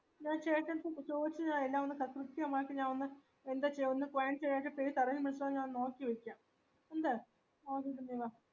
ഞാൻ ചേട്ടടുത്തു ചൊയിച്ചിന് എല്ല്ലാമൊന്ന് ഞാൻ ഒന്ന് ന്ത ചെയ്യാ ഒന്ന് പോയി കടയിൽ miss അയ്‌നോനു നോക്യയോക്യ ന്ത് ആ